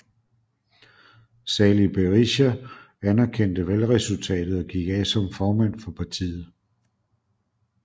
Sali Berisha anerkendte valgresultatet og gik af som formand for partiet